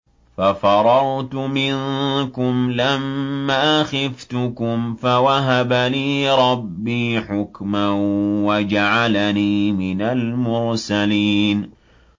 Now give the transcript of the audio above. فَفَرَرْتُ مِنكُمْ لَمَّا خِفْتُكُمْ فَوَهَبَ لِي رَبِّي حُكْمًا وَجَعَلَنِي مِنَ الْمُرْسَلِينَ